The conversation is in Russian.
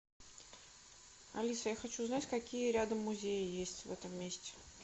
алиса я хочу узнать какие рядом музеи есть в этом месте